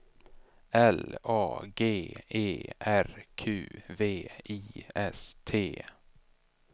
L A G E R Q V I S T